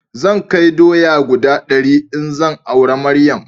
Zan kai doya guda dari in zan aura Maryam